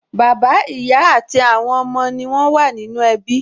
Bàbá, ìyá àti àwọn ọmọ wọn ní ó wà nínú ẹbí